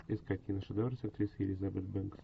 искать киношедевр с актрисой элизабет бенкс